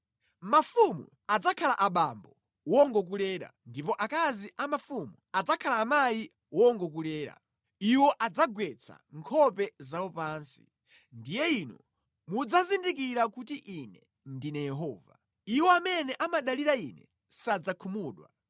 Mafumu adzakhala abambo wongokulera ndipo akazi a mafumu adzakhala amayi wongokulera. Iwo adzagwetsa nkhope zawo pansi. Ndiye inu mudzazindikira kuti Ine ndine Yehova; iwo amene amadalira Ine sadzakhumudwa.”